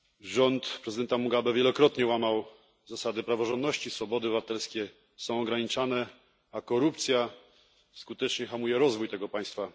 Rząd prezydenta Mugabe wielokrotnie łamał zasady praworządności, swobody obywatelskie są ograniczane, a korupcja skutecznie hamuje rozwój tego państwa.